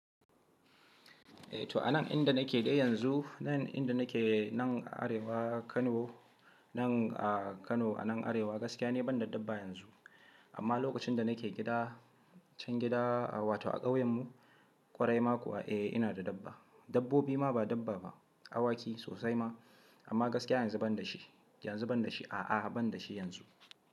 Eh to a nan inda nake dai yanzu, nan inda nake nan Arewa Kano, nan a Kano a nan Arewa gaskiya ne ban da dabba yanzu. Amma lokacin da nake gida, can gida wato a ƙauyen mu kwarai ma kuwa eh ina da dabba. Dabbobi ma ba dabba ba, awaki sosai ma amma gaskiya yanzu ban da shi, yanzu ban da shi, a'a ban da shi yanzu.